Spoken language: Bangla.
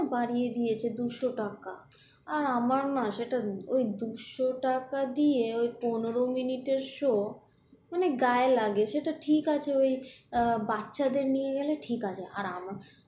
বাড়িয়ে দিয়েছে দুশ টাকা, আর আমার না সেটা ওই দুশ টাকা দিয়ে ওই পনেরো মিনিটের show মানে গায়ে লাগে সেটা ঠিক আছে ওই আহ বাচ্ছাদের নিয়ে গেলে ঠিক আছে। আর আমার